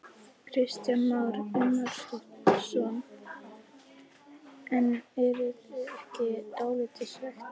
Kristján Már Unnarsson: En eruð þið ekki dálítið svekktir?